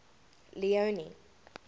leone